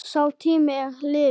Sá tími er liðinn.